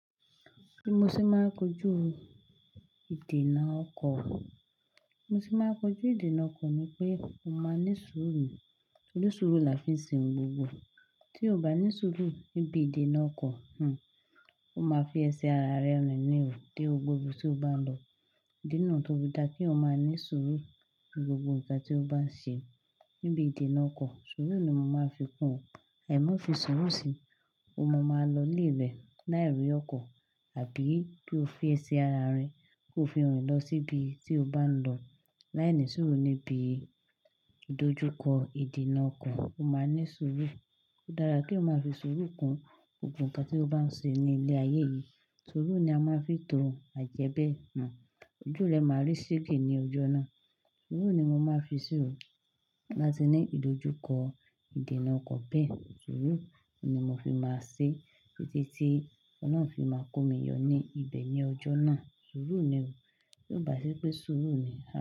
Bí mo ṣe máa kojú ìdènà ọkọ̀. Bí mo ṣe máa kojú ìdènà ọkọ̀ ni pé, mo máa ní sùúrù. Torí sùúrù la fi ń ṣe ohun gbogbo. Tí o ò bá ní sùúrù níbi ìdènà ọkọ̀, hmmm ọ ma fi ẹsẹ̀ ara rẹ rìn ní òó dé gbogbo ibi tí o bá ń lọ. Nígbà náà tóbi dá kí o máa ní sùúrù ní gbogbo ìgbà tí o bá ń ṣe níbi ìdènà ọkọ̀. Sùúrù ni mo máa fi kún ọ, àìmo fi sùúrù sí i, mo máa lọ lé rẹ l'ári ọkọ̀ àbí kí o fi ẹsẹ̀ ara rẹ, kí o fi rìn lọ sí ibi tí o bá ń lọ. Láìní sùúrù níbi ìdojúkọ ìdènà ọkọ̀, o máa ní sùúrù. Ó dára kí eeyan máa fi sùúrù kún gbogbo nǹkan tí o bá ń ṣe ní ilé ayé yìí. Sùúrù ni a máa ń fi tó àjẹ́bẹ́ hmmm ojú rẹ máa rí sege ní ọjọ́ náà. Sùúrù ni mo máa fi sì ó tin ba ti ní ìdojúkọ ìdènà ọkọ̀ bẹ́ẹ̀. Sùúrù ni mo fi máa ṣé títí tí ọ̀nà ọkọ̀ náà fi máa kó mi yọ ní ibẹ̀ ní ọjọ́ náà. Sùúrù ni o, ti ó bá ṣi pé sùúrù ni a.